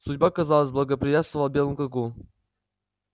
судьба казалось благоприятствовала белому клыку